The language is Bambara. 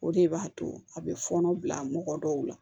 O de b'a to a bɛ fɔɔnɔ bila mɔgɔ dɔw la